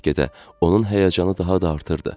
Və get-gedə onun həyəcanı daha da artırdı.